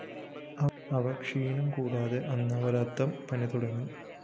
അവര്‍ ക്ഷീണം കൂടാതെ അനവരതം പണിതുടങ്ങി